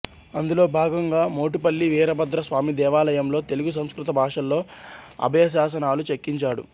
అందులో భాగంగా మోటుపల్లి వీరభద్ర స్వామి దేవాలయంలో తెలుగు సంస్కృత భాషల్లో అభయశాసనాలు చెక్కించాడు